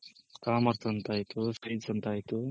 Commerce ಅಂತ ಆಯ್ತು science ಅಂತ ಆಯ್ತು.